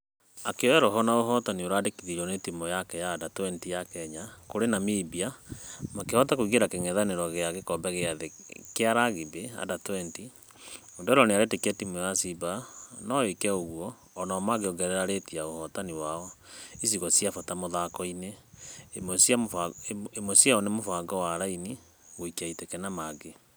Akĩoya roho na ũhotani ũrandĩkithirio nĩ timũ yake ya u20 ya kenya kũrĩ namibia makĩhota kũingĩra kĩngethangethanĩro gĩa gĩkobe gĩa thĩ gĩa rugby u20. Odero nĩaretekia timũ ya simba nũĩke ũgũo o nao magĩongerera reti ya ũhotani wao icigo cia bata mũthako-inĩ , imwe ciao nĩ mũbango wa raini, gũikia iteke na .....